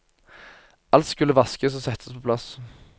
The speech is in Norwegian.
Alt skulle vaskes og settes på plass.